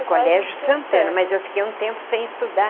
Colégio Santana, mas eu fiquei um tempo sem estudar.